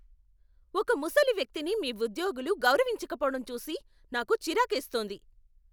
ఒక ముసలి వ్యక్తిని మీ ఉద్యోగులు గౌరవించకపోవడం చూసి నాకు చిరాకేస్తోంది.